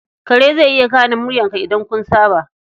Kare zai iya gane muryarka idan kun saba.